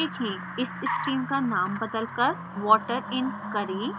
इस stream का name बदलकर water in करें